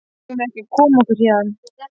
Eigum við ekki að koma okkur héðan?